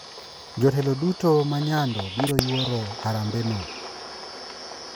Jotelo duto ma nyando biro yuoro harambe no